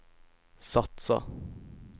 satsa